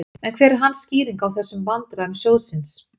En hver er hans skýring á þessum vandræðum sjóðsins?